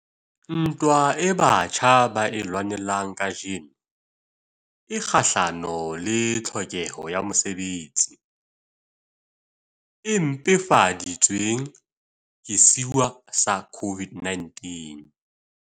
Ntwa eo batjha ba e lwanang kajeno e kgahlano le tlhokeho ya mosebetsi, e mpefadi tsweng ke sewa sa COVID-19.